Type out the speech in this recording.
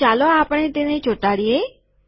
તો ચાલો આપણે તેને ચોંટાડીએ